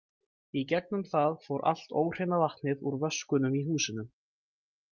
Í gegnum það fór allt óhreina vatnið úr vöskunum í húsinu.